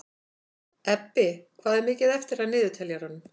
Ebbi, hvað er mikið eftir af niðurteljaranum?